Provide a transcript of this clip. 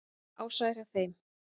Ása er hjá þeim.